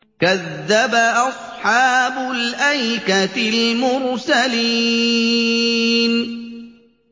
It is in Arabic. كَذَّبَ أَصْحَابُ الْأَيْكَةِ الْمُرْسَلِينَ